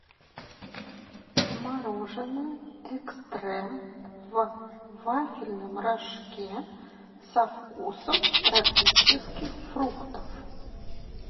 мороженое экстрем в вафельном рожке со вкусом тропических фруктов